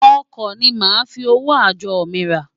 Ọkọ ni màá fi owó àjọ mi rà.